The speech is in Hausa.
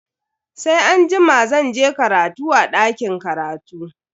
Sai anjima zan je karatu a dakin karatu.